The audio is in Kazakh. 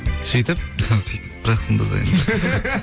сөйтіп сөйтіп бірақ сонда да енді